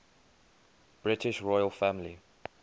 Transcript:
british royal family